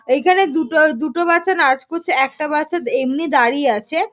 এখানে দুটো দুটো বাচ্চা নাচ করছে একটা বাচ্চা এমনি দাঁড়িয়ে আছে।